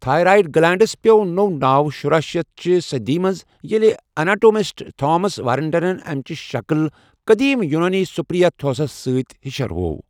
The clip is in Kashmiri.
تھیرایِڑ گلینڈَس پیوٚو نوٚو ناو شُرہ شَتھ چِہ صدی منٛزیٔلہ اناٹومسٹ تھامَس وارٹنَن امچہٕ شَکل قدیم یونٲنی سِپر یا تھیوسَس سۭتۍ ہشر ہوو۔